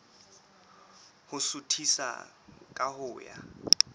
ho suthisa ka ho ya